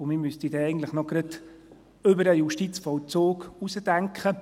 Zudem müsste man dann eigentlich gerade noch über den Justizvollzug hinausdenken.